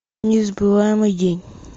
незабываемый день